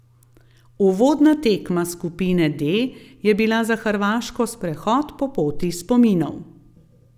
Uvodna tekma skupine D je bila za Hrvaško sprehod po poti spominov.